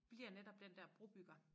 Bliver netop den dér brobygger